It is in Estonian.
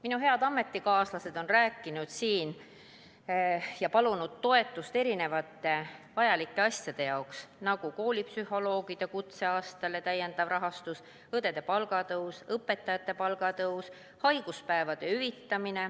Minu head ametikaaslased on siin rääkinud ja palunud toetust erinevate vajalike asjade jaoks, nagu koolipsühholoogide kutseaasta lisarahastus, õdede palga tõus, õpetajate palga tõus, haiguspäevade hüvitamine.